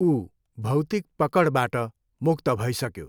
ऊ भौतिक पकडबाट मुक्त भइसक्यो।